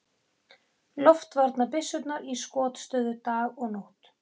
Loftvarnabyssurnar í skotstöðu dag og nótt.